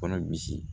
Kɔnɔ misi